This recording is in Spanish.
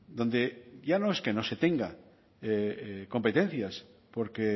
donde ya no es que no se tenga competencias porque